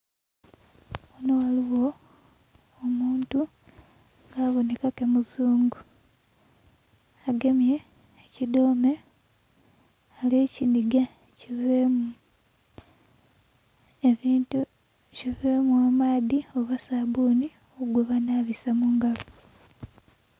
Ghano ghaligho omuntu nga aboneka ke muzungu agemye ekidhome alikinhiga kivemu ebintu kivemu amaadhi oba sabuni gwe banabisa mungalo.